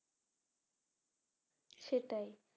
সেটাই